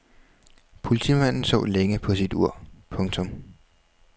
Politimanden så længe på sit ur. punktum